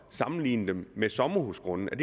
sammenligne dem med sommerhusgrunde